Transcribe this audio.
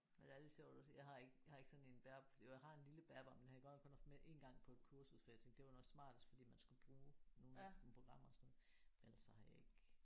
Men det er lidt sjovt at se. Jeg har ikke jeg har ikke sådan en bærbar jo jeg har en lille bærbar men den har jeg godt nok kun haft med én gang på et kursus for jeg tænkte det var nok smartest fordi man skulle bruge nogle programmer og sådan noget men ellers så har jeg ikke